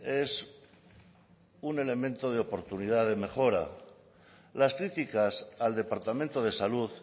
es un elemento de oportunidad de mejora las críticas al departamento de salud